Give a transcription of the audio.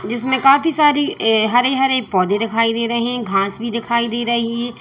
जिसमें काफी सारी ये हरे हरे पौधे दिखाई दे रहे हैं घास भी दिखाई दे रही है।